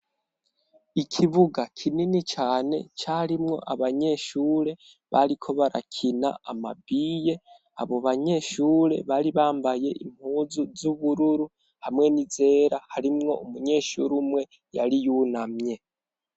Ikibuga kinini cane carimwo abanyeshure bariko barakina amabiye. Abobanyeshure bari bambaye impuzu z'ubururu hamwe n'izera harimwo umunyeshure umwe yari yunamye.